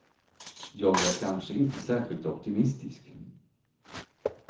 Jag är kanske inte särskilt optimistisk.